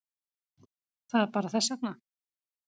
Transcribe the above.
Það er bara þess vegna.